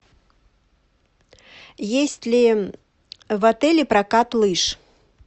есть ли в отеле прокат лыж